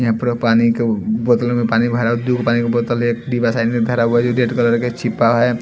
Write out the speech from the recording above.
यहां पर पानी के बोतल में पानी भरा दो पानी की बोतल एक डिवा साइन में भरा हुआ है जो रेड कलर के छिपा है।